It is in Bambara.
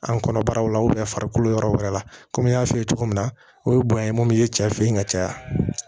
An kɔnɔbara la farikolo yɔrɔ wɛrɛ la komi n y'a f'i ye cogo min na o ye bonya ye mun ye cɛ fe ye ka caya